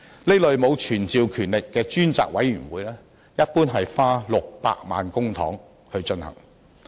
這類沒有傳召權力的專責委員會一般花600萬元公帑。